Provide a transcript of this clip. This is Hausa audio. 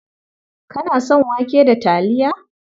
Kana son wake da taliya?